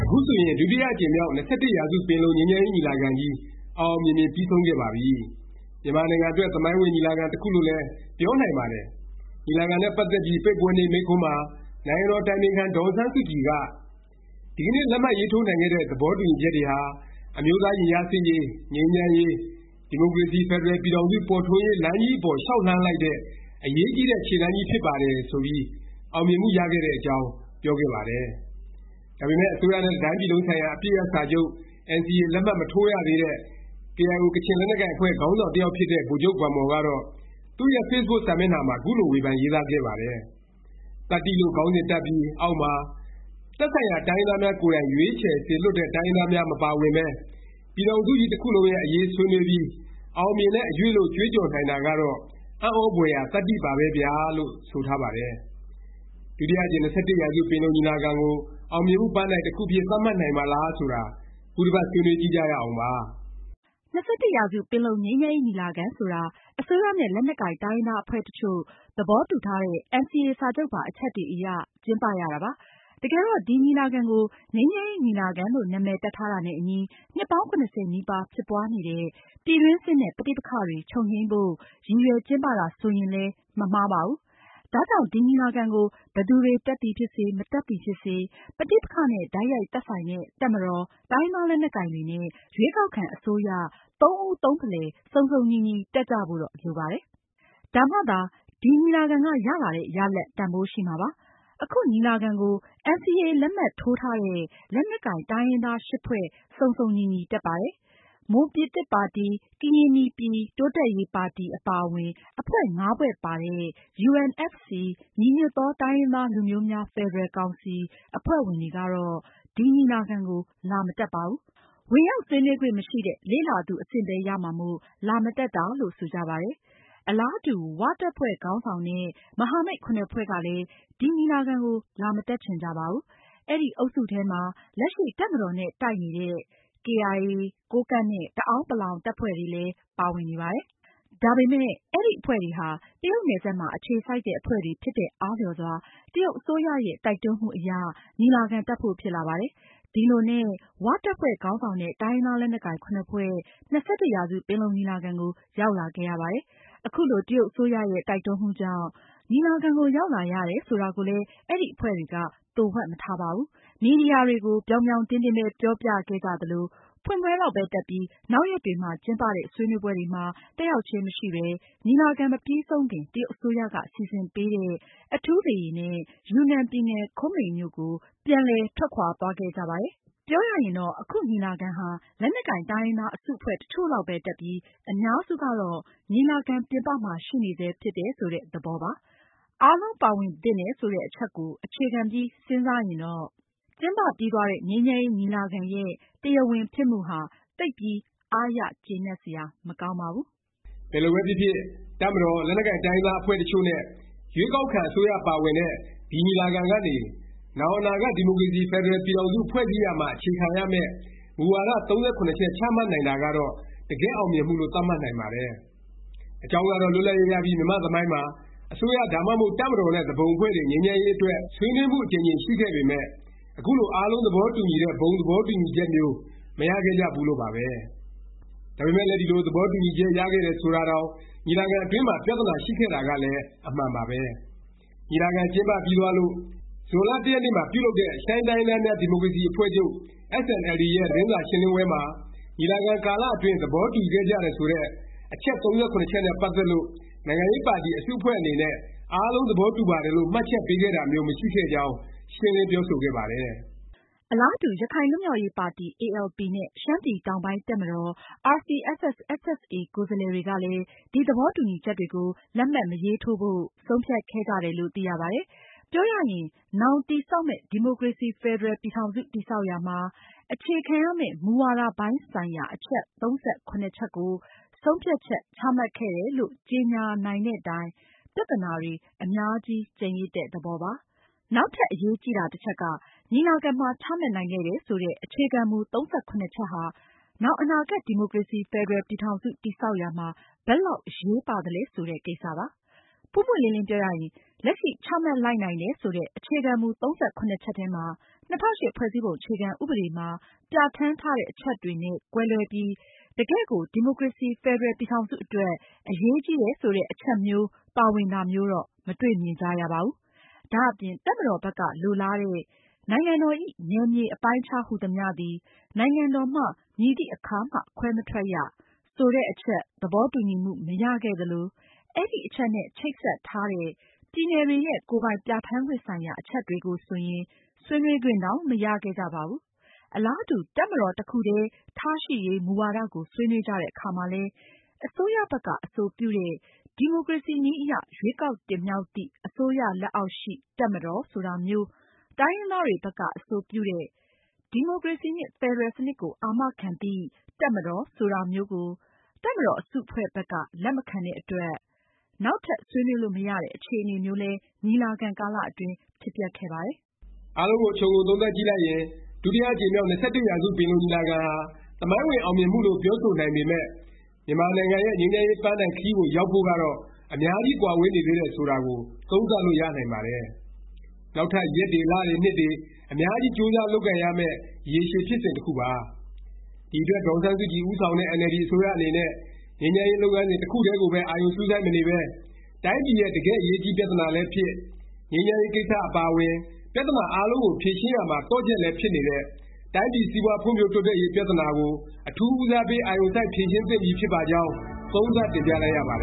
ခုဆိုရင် ဒုတိယ အကြိမ်မြောက် ၂၁ ရာစု ပင်လုံ ငြိမ်းချမ်းရေး ညီလာခံကြီး အောင်အောင်မြင်မြင် ပြီးဆုံးခဲ့ပါပြီ။ မြန်မာနိုင်ငံအတွက် သမိုင်းဝင် ညီလာခံ တစ်ခုလို့လည်း ပြောနိုင်ပါတယ်။ ညီလာခံနဲ့ ပတ်သက်ပြီး ပိတ်ပွဲနေ့ မိန့်ခွန်းမှာ နိုင်ငံတော် အတိုင်ပင်ခံ ဒေါ်အောင်ဆန်းစုကြည်က “ ဒီကနေ့ လက်မှတ်ရေးထိုးနိုင်ခဲ့တဲ့ သဘောတူညီချက်တွေဟာ အမျိုးသား ရင်ကြားစေ့ရေး၊ ငြိမ်းချမ်းရေး၊ ဒီမိုကရေစီ ဖက်ဒရယ် ပြည်ထောင်စု ပေါ်ထွန်းရေး လမ်းကြီးအပေါ် လျောက်လှမ်းလိုက်တဲ့ အရေးကြီးတဲ့ ခြေလှမ်းကြီး ဖြစ်ပါတယ်။” ဆိုပြီး အောင်မြင်မှု ရခဲ့တဲ့အကြောင်း ပြောခဲ့တယ်။ ဒါပေမယ့် အစိုးရနဲ့ တစ်တိုင်းပြည်လုံးဆိုင်ရာ အပစ်ရပ်စာချုပ် NCA လက်မှတ်မထိုးရသေးတဲ့ KIO ကချင်လက်နက်ကိုင် အဖွဲ့ ခေါင်းဆောင် တစ်ယောက်ဖြစ်တဲ့ ဗိုလ်ချုပ် ဂွမ်မော်ကတော့ သူ့ရဲ့ ဖေ့ဘုတ်စာမျက်နှာမှာ ခုလို ဝေဖန် ရေးသားခဲ့ပါတယ်။ “သတ္တိ ” လို့ခေါင်းစဉ်တပ်ပြီး အောက်မှာ “ သက်ဆိုင်ရာ တိုင်းရင်းသားများ ကိုယ်တိုင် ရွေးချယ်စေလွှတ်တဲ့ ကိုယ်စားလှယ်များ မပါဝင်ပဲ ပြည်ထောင်စုကြီး တစ်ခုလုံးရဲ့ အရေး ဆွေးနွေးပြီး - အောင်မြင်တဲ့ အရွေ့လို့ ကြွေးကြော်နိုင်တာကတော့ အံ့သြဘွယ်ရာ သတ္တိ ပါပဲဗျာ” လို့ ဆိုထားပါတယ်။ ဒုတိယ အကြိမ် ၂၁ ရာစု ပင်လုံညီလာခံကို အောင်မြင်မှု ပန်းတိုင် တစ်ခုအဖြစ် သတ်မှတ်နိုင်မှာလား ဆိုတာ ခုတစ်ပတ် ဆွေးနွေးကြည့်ကြရအောင်ပါ။ ၂၁ ရာစု ပင်လုံ ငြိမ်းချမ်းရေး ညီလာခံ ဆိုတာ အစိုးရနဲ့ လက်နက်ကိုင် တိုင်းရင်းသား အဖွဲ့တစ်ချို့ သဘောတူထားတဲ့ NCA စာချုပ်ပါ အချက်တွေအရ ကျင်းပရတာပါ။ တကယ်တော့ ဒီ ညီလာခံကို ငြိမ်းချမ်းရေး ညီလာခံလို့ နာမည် တပ်ထားတာနဲ့အညီ နှစ်ပေါင်း ၇၀ နီးပါး ဖြစ်ပွားနေတဲ့ ပြည်တွင်းစစ်နဲ့ ပဋိပက္ခတွေ ချုပ်ငြိမ်းဖို့ ရည်ရွယ်ကျင်းပတာ ဆိုရင်လည်း မမှားပါဘူး။ ဒါကြောင့် ဒီညီလာခံကို ဘယ်သူတွေ တက်သည်ဖြစ်စေ မတက်သည်ဖြစ်စေ၊ ပဋိပက္ခနဲ့ တိုက်ရိုက် သက်ဆိုင်တဲ့ တပ်မတော်၊ တိုင်းရင်းသား လက်နက်ကိုင်တွေနဲ့ ရွေးကောက်ခံ အစိုးရ သုံးဦးသုံးဖလှယ် စုံစုံညီညီ တက်ကြဖို့တော့ လိုပါတယ်။ ဒါမှသာ ဒီညီလာခံက ရလာတဲ့ ရလာဒ် တန်ဘိုးရှိ မှာပါ။ အခု ညီလာခံကို NCA လက်မှတ်ထိုးထားတဲ့ လက်နက်ကိုင် တိုင်းရင်းသား ၈ ဖွဲ့ စုံစုံညီညီ တက်ပါတယ်။ မွန်ပြည်သစ်ပါတီ၊ ကရင်နီပြည် တိုးတက်ရေးပါတီ အပါအဝင် အဖွဲ့ ဖွဲ့ပါတဲ့ UNFC ညီညွတ်သော တိုင်းရင်းသားလူမျိုးများ ဖက်ဒရယ် ကောင်စီ အဖွဲ့ဝင်တွေကတော့ ဒီ ညီလာခံကို လာမတက်ပါဘူး။ ဝင်ရောက် ဆွေးနွေးခွင့်မရှိတဲ့ လေ့လာသူ အဆင့်ပဲ ရမှာမို့ လာမတက်တာလို့ ဆိုကြပါတယ်။ အလားတူ ၀ တပ်ဖွဲ့ခေါင်းဆောင်တဲ့ မဟာမိတ် ဖွဲ့ကလည်း ဒီညီလာခံကို လာမတက်ချင်ကြပါဘူး။ အဲဒီ အုပ်စုထဲမှာ လက်ရှိ တပ်မတော်နဲ့ တိုက်နေ ခိုက်နေဆဲ ကေအိုင်အေ၊ ကိုးကန့်နဲ့ တအာန်းပလောင် တပ်ဖွဲ့တွေလည်း ပါဝင်နေပါတယ်။ ဒါပေမယ့် အဲဒီ အဖွဲ့တွေဟာ တရုတ်နယ်စပ်မှာ အခြေစိုက်တဲ့ အဖွဲ့တွေ ဖြစ်တဲ့အားလျော်စွာ တရုတ်အစိုးရရဲ့ တိုက်တွန်းမှုအရ ညီလာခံ တက်ဖို့ ဖြစ်လာပါတယ်။ ဒီလိုနဲ့ ၀ တပ်ဖွဲ့ ခေါင်းဆောင်တဲ့ တိုင်းရင်းသား လက်နက်ကိုင် ၇ ဖွဲ့ ၂၁ ရာစု ပင်လုံညီလာခံကို ရောက်လာခဲ့ရပါတယ်။ အခုလို တရုတ်အစိုးရရဲ့ တိုက်တွန်းမှုကြောင့် ညီလာခံကို ရောက်လာရတယ် ဆိုတာကိုလည်း အဲဒီ အဖွဲ့တွေက သိုဝှက်မထားပါဘူး။ မီဒီယာတွေကို ပြောင်ပြောင်တင်းတင်းပဲ ပြောပြခဲ့ကြသလို၊ ဖွင့်ပွဲလောက်ပဲ တက်ပြီး နောက်ရက်တွေမှာ ကျင်းပတဲ့ ဆွေးနွေးပွဲတွေမှာ တက်ရောက်ခြင်း မရှိပဲ ညီလာခံ မပြီးဆုံးခင် တရုတ်အစိုးရက စီစဉ်ပေးတဲ့ အထူးလေယာဉ်နဲ့ ယူနန်ပြည်နယ် ခွင်းမင်မြို့ကို ပြန်လည် ထွက်ခွာသွားခဲ့ကြပါတယ်။ ပြောရရင် အခုညီလာခံဟာ လက်နက်ကိုင် တိုင်းရင်းသား အစုအဖွဲ့ တစ်ချို့လောက်ပဲ တက်ပြီး အများစုကတော့ ညီလာခံ ပြင်ပမှာ ရှိနေဆဲ ဖြစ်တယ် ဆိုတဲ့ သဘောပါ။ အားလုံးပါဝင်သင့်တယ် ဆိုတဲ့ အချက်ကို အခြေခံပြီး စဉ်းစားရင်တော့ ကျင်းပပြီးသွားတဲ့ ငြိမ်းချမ်းရေးညီလာခံရဲ့ တရားဝင်ဖြစ်မှုဟာ သိပ်ပြီး အားရကျေနပ်စရာ မကောင်းပါဘူး။ ဘယ်လိုပဲဖြစ်ဖြစ် တပ်မတော်၊ လက်နက်ကိုင် တိုင်းရင်းသား အဖွဲ့တစ်ချို့ နဲ့ ရွေးကောက်ခံ အစိုးရပါဝင်တဲ့ ဒီညီလာခံကနေ နောင် အနာဂတ် ဒီမိုကရေစီ ဖက်ဒရယ် ပြည်ထောင်စု ဖွဲ့စည်းရာမှာ အခြေခံရမယ့် မူဝါဒ ၃၇ ချက်ချမှတ်နိုင်တာကတော့ တကယ့် အောင်မြင်မှုလို့ သတ်မှတ်နိုင်ပါတယ်။ အကြောင်းကတော့ လွတ်လပ်ရေးရပြီး မြန်မာ့သမိုင်းမှာ အစိုးရ ဒါမှမဟုတ် တပ်မတော်နဲ့ သူပုန်အဖွဲ့တွေ ငြိမ်းချမ်းရေး အတွက် ဆွေးနွေးမှု အကြိမ်ကြိမ် ရှိခဲ့ပေမယ့် အခုလို အားလုံး သဘောတူညီတဲ့ ဘုံသဘောတူညီချက်မျိုး မရခဲ့ကြဘူးလို့ပါပဲ။ ဒါပေမယ့်လည်း ဒီလို သဘောတူညီချက် ရခဲ့တယ် ဆိုတာတောင် ညီလာခံ အတွင်းမှာ ပြသနာရှိခဲ့တာကလည်း အမှန်ပါပဲ။ ညီလာခံ ကျင်းပပြီးသွားလို့ ဇွန်လ ၁ ရက်နေ့မှာ ပြုလုပ်တဲ့ ရှမ်းတိုင်းရင်းသားများ ဒီမိုကရေစီ အဖွဲ့ချုပ် SNLD ရဲ့ သတင်းစာ ရှင်းလင်းပွဲမှာ ညီလာခံကာလ အတွင်း သဘောတူခဲ့ကြတယ် ဆိုတဲ့ အချက် ၃၇ ချက်နဲ့ ပတ်သက်လို့ နိုင်ငံရေးပါတီ အစုအဖွဲ့ အနေနဲ့ အားလုံး သဘောတူပါတယ်လို့ မှတ်ချက်ပေးခဲ့တာမျိုး မရှိခဲ့ကြောင်း ရှင်းလင်း ပြောဆိုခဲ့ပါတယ်။ အလားတူ ရခိုင်လွတ်မြောက်ရေးပါတီ ALP နဲ့ ရှမ်းပြည်တောင်ပိုင်း တပ်မတော် RCSS/SSA ကိုယ်စားလှယ်တွေကလည်း ဒီ သဘောတူညီချက်တွေကို လက်မှတ်မရေးထိုးဖို့ ဆုံးဖြတ်ခဲ့ကြတယ်လို့လည်း သိရပါတယ်။ ပြောရရင် နောင် တည်ဆောက်မယ့် ဒီမိုကရေစီ ဖက်ဒရယ် ပြည်ထောင်စု တည်ဆောက်ရာမှာ အခြေခံရမယ့် မူဝါဒ ပိုင်းဆိုင်ရာ အချက် ၃၇ ချက်ကို ဆုံးဖြတ်ချက် ချမှတ်ခဲ့တယ်လို့ ကြေငြာနိုင်တဲ့တိုင် ပြသနာတွေ အများကြီး ကျန်ရစ်တဲ့ သဘောပါ။ နောက်ထပ် အရေးကြီးတာ တစ်ချက်က ညီလာခံမှာ ချမှတ်နိုင်ခဲ့တယ် ဆိုတဲ့ အခြေခံမူ ၃၇ ချက်ဟာ နောင် အနာဂတ် ဒီမိုကရေစီ ဖက်ဒရယ် ပြည်ထောင်စု တည်ဆောက်ရာမှာ ဘယ်လောက် အရေးပါသလဲ ဆိုတဲ့ ကိစ္စပါ။ ပွင့်ပွင့်လင်းလင်း ပြောရရင် လက်ရှိ ချမှတ်လိုက်နိုင်တယ် ဆိုတဲ့ အခြေခံမူ ၃၇ ချက်ထဲမှာ ၂၀၀၈ ဖွဲ့စည်းပုံ အခြေခံ ဥပဒေမှာ ပြဌာန်းထားတဲ့ အချက်တွေနဲ့ ကွဲလွဲပြီး တကယ့်ကို ဒီမိုကရေစီ ဖက်ဒရယ် ပြည်ထောင်စု အတွက် အရေးကြီးတယ် ဆိုတဲ့ အချက်မျိုး ပါဝင်တာမျိုးတော့ မတွေ့မြင်ကြရပါဘူး။ ဒါ့အပြင် တပ်မတော်ဘက်က လိုလားတဲ့ “နိုင်ငံတော်၏ နယ်မြေအပိုင်းအခြားဟူသမျှသည် နိုင်ငံတော်မှ မည်သည့်အခါမှခွဲမထွက်ရ။” ဆိုတဲ့အချက် သဘောတူညီမှု မရခဲ့သလို၊ အဲဒီအချက်နဲ့ ချိတ်ဆက်ထားတဲ့ ပြည်နယ်တွေရဲ့ ကိုယ်ပိုင်ပြဌာန်းခွင့်ဆိုင်ရာ အချက်တွေကိုဆိုရင် ဆွေးနွေးခွင့်တောင် မရခဲ့ကြပါဘူး။ အလားတူ တပ်မတော် တစ်ခုတည်း ထားရှိရေး မူဝါဒကိုဆွေးနွေးကြတဲ့ အခါမှာလည်း အစိုးရဘက်က အဆိုပြုတဲ့ “ ဒီမိုကရေစီနည်းအရ ရွေးကောက်တင်မြှောက်သည့် အစိုးရလက်အောက်ရှိ တပ်မတော်” ဆိုတာမျိုး၊ တိုင်းရင်းသားတွေ ဘက်က အဆိုပြုတဲ့ “ ဒီမိုကရေစီနှင့် ဖက်ဒရယ် စနစ်ကို အာမခံသည့် တပ်မတော်” ဆိုတာမျိုးကို တပ်မတော် အစုအဖွဲ့ဘက်က လက်မခံတဲ့အတွက် နောက်ထပ် ဆွေးနွေးလို့ မရတဲ့ အခြေအနေမျိုးလည်း ညီလာခံကာလ အတွင်းဖြစ်ပျက်ခဲ့ပါတယ်။ အားလုံးကို ခြုံငုံသုံးသပ်ကြည့်လိုက်ရင် ဒုတိယ အကြိမ်မြောက် ၂၁ ရာစု ပင်လုံညီလာခံဟာ သမိုင်းဝင် အောင်မြင်မှုလို့ ပြောဆိုနိုင်ပေမယ့် မြန်မာနိုင်ငံရဲ့ ငြိမ်းချမ်းရေး ပန်းတိုင်ခရီးကို ရောက်ဖို့ကတော့ အများကြီး ကွာဝေးနေသေးတယ်ဆိုတာကို သုံးသပ်လို့ ရနိုင်ပါတယ်။ နောက်ထပ် ရက်တွေ၊ လတွေ နှစ်တွေ အများကြီး ကြိုးစား လုပ်ကိုင်ရမယ့် ရေရှည်ဖြစ်စဉ် တစ်ခုပါ။ ဒီအတွက် ဒေါ်အောင်ဆန်းစုကြည် ဦးဆောင်တဲ့ အင်န်အယ်လ်ဒီ အစိုးရအနေနဲ့ ငြိမ်းချမ်းရေး လုပ်ငန်းစဉ် တစ်ခုတည်းကိုပဲ အာရုံစူးစိုက်မနေပဲ တိုင်းပြည်ရဲ့ တကယ့် အရေးကြီးပြသနာလည်းဖြစ်၊ ငြိမ်းချမ်းရေးကိစ္စ အပါအဝင် ပြသနာအားလုံးကို ဖြေရှင်းရာမှာ သော့ချက်လည်း ဖြစ်နေတဲ့ တိုင်းပြည် စီးပွားဖွံ့ဖြိုးတိုးတက်ရေး ပြသနာကို အထူး ဦးစားပေး အာရုံစိုက် ဖြေရှင်းသင့်ပြီ ဖြစ်ပါကြောင်း သုံးသပ်တင်ပြလိုက်ရပါတ